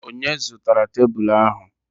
Onye zụtara tebụlụ ahụ?